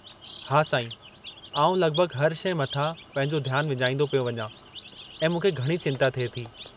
हा साईं, आउं लॻिभॻि हर शइ मथां पंहिंजो ध्यानु विञाईंदो पियो वञां, ऐं मूंखे घणी चिंता थिए थी।